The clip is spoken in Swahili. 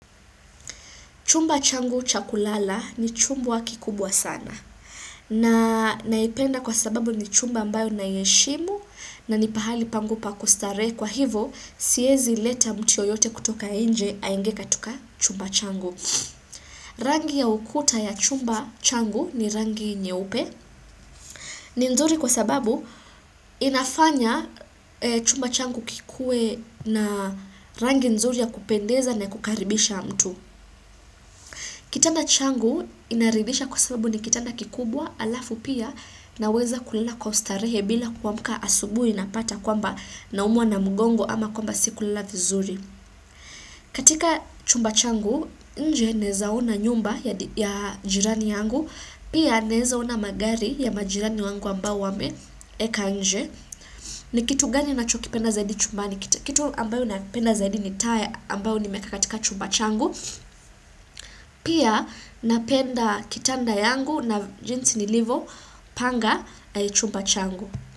Chumba changu cha kulala ni chumba kikubwa sana. Na naipenda kwa sababu ni chumba ambayo naiheshimu na ni pahali pangu pa kustarehe kwa hivo siezi leta mtu yoyote kutoka nje aingie katika chumba changu. Rangi ya ukuta ya chumba changu ni rangi nyeupe ni nzuri kwa sababu inafanya chumba changu kikue na rangi nzuri ya kupendeza na kukaribisha mtu. Kitanda changu inaridisha kwa sababu ni kitanda kikubwa, halafu pia naweza kulala kwa ustarehe bila kuamka asubuhi napata kwamba naumwa na mgongo ama kwamba sikulala vizuri. Katika chumba changu nje naeza ona nyumba ya jirani yangu, pia naeza ona magari ya majirani wangu ambao wameeka nje. Ni kitu gani ninachokipenda zaidi chumbani? Kitu ambayo napenda zaidi ni taa ambayo nimeeka katika chumba changu. Pia napenda kitanda yangu na jinsi nilivyopanga chumba changu.